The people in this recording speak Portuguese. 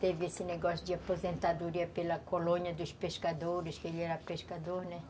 Teve esse negócio de aposentadoria pela colônia dos pescadores, que ele era pescador, né?